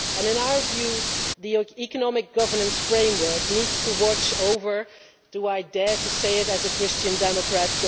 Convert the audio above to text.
In our view the economic governance framework needs to watch over do I dare say it as a Christian Democrat?